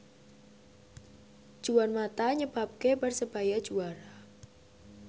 Juan mata nyebabke Persebaya juara